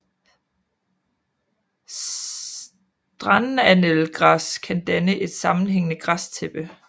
Strandannelgræs kan danne et sammenhængende græstæppe